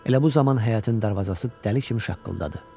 Elə bu zaman həyətin darvazası dəli kimi şaqqıldadı.